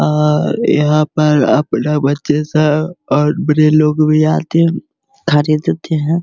और यहाँ पर अपना बच्चे सब और बड़े लोग भी आते हैं ख़रीदते हैं।